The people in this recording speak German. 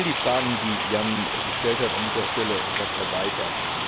Ich will die Frage, die Jan gestellt hat, an dieser Stelle etwas erweitern.